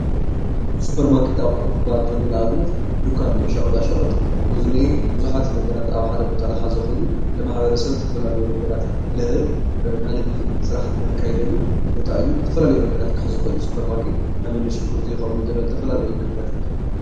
ሱፐር ማርኬት ክባሃል ከሎ ንኣብነት ዱኳን ናይ ሸቀጣ ሸቀጥ እዚ ቡዛሓት ዝሕዝ ነገራት ኣብ ሓደ ቦታ ዝሓዘ ኮይኑኒ ማሕበረሰብ ዝተፋላለይ ነገራት ልህብ ናይ ንግዲ ሰራሓ ለካየደሉ ቦታእዩ፡፡ ዝተፋላለዩ ነገራት ክሕዝ ይክእል እይ፡፡ ሹፐር ማርኬትንኣብነት ሺጉርቲ፣ ፣ኮምደረ ዝተፋላለዩ ነገራት።